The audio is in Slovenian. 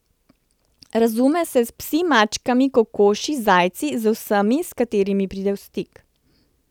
Razume se s psi, mačkami, kokoši, zajci, z vsemi, s katerimi pride v stik.